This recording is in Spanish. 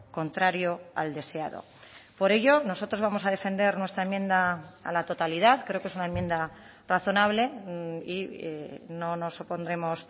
contrario al deseado por ello nosotros vamos a defender nuestra enmienda a la totalidad creo que es una enmienda razonable y no nos opondremos